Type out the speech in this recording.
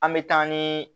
An bɛ taa ni